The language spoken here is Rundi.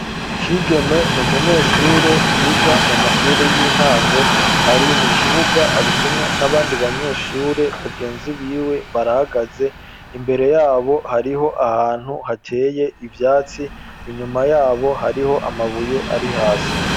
Kigeme n’umunyeshure yiga mu mashuri y'intango. Ari mu kibuga ari kumwe n'abandi banyeshure bagenzi b'iwe barahagaze. Imbere y'abo, hariho ahantu hateye ivyatsi , inyuma y'abo, hariho amabuye ari hasi.